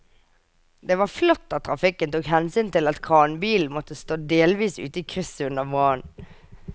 Det var flott at trafikken tok hensyn til at kranbilen måtte stå delvis ute i krysset under brannen.